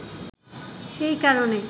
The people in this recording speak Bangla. সেই কারণেই